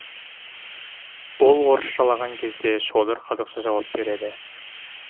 ол орысшалаған кезде шодыр қазақша жауап береді